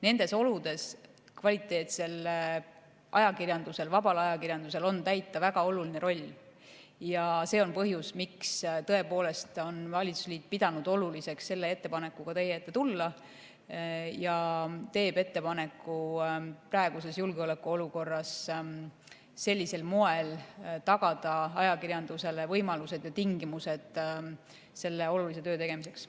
Nendes oludes on kvaliteetsel ajakirjandusel, vabal ajakirjandusel täita väga oluline roll ja see on põhjus, miks valitsusliit on pidanud oluliseks selle ettepanekuga teie ette tulla ja teeb ettepaneku praeguses julgeolekuolukorras sellisel moel tagada ajakirjandusele võimalused ja tingimused selle olulise töö tegemiseks.